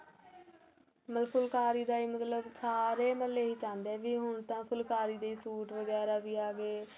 ਮਤਲਬ ਫੁਲਕਾਰੀ ਦਾ ਏਹ ਮਤਲਬ ਸਾਰੇ ਹੀ ਏਹੀ ਚਾਦੇ ਵੀ ਹੁਣ ਤਾਂ ਫੁਲਕਾਰੀ ਦੇ suit ਵਗੇਰਾ ਵੀ ਆ ਗਏ